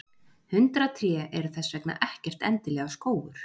Hundrað tré eru þess vegna ekkert endilega skógur.